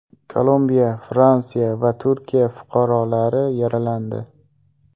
Kolumbiya, Fransiya va Turkiya fuqarolari yaralandi.